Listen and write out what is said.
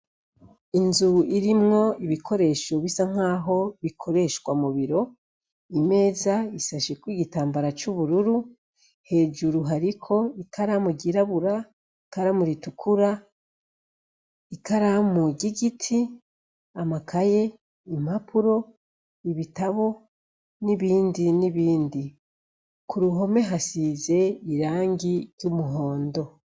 Inzu irimwo ibikoresho bisa nkaho bikoreshwa mubiro, imeza asasheko igitambara c'uburururu, hejuru hariko ikaramu ryirabura, ikaramu ritukura, ikaramu ry'igiti, amakaye, impapuro, ibitabo n'ibindi n'ibindi. Kuruhome hasize irangi ry'umuhondo.